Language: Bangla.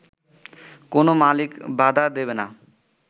কোন মালিক বাধা দেবে না